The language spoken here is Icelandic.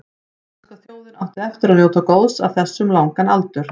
Íslenska þjóðin átti eftir að njóta góðs af þessu um langan aldur.